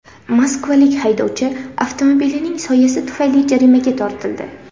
Moskvalik haydovchi avtomobilining soyasi tufayli jarimaga tortildi.